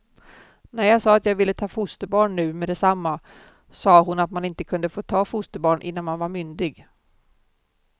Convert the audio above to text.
När jag sade att jag ville ta fosterbarn nu meddetsamma, sa hon att man inte kunde få ta fosterbarn innan man var myndig.